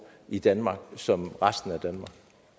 i danmark som resten af danmark